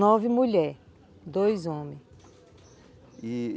Nove mulher, dois homens.